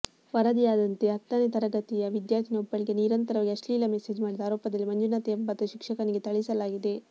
ವರದಿಯಾದಂತೆ ಹತ್ತನೇ ತರಗತಿಯ ವಿದ್ಯಾರ್ಥಿನಿಯೊಬ್ಬಳಿಗೆ ನಿರಂತರವಾಗಿ ಅಶ್ಲೀಲ ಮೆಸೇಜ್ ಮಾಡಿದ ಆರೋಪದಲ್ಲಿ ಮಂಜುನಾಥ್ ಎಂಬ ಶಿಕ್ಷಕನಿಗೆ ಥಳಿಸಲಾಗಿದೆ